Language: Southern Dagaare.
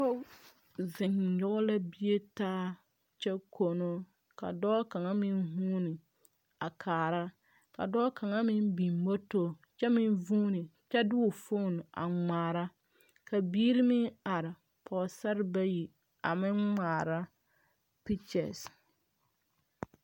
Pɔgɔ zeŋ yɔge la bie taa kyɛ kono. Ka dɔɔ kanga meŋ vuuni a kaara. Ka dɔɔ kanga meŋ biŋ moto kyɛ meŋ vuuni kyɛ de o fon a ŋmaara. Ka biire meŋ are. Pɔgɔsar bayi a meŋ ŋmaara pikyes